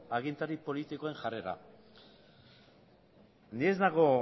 agintari politikoen jarrera ni ez nago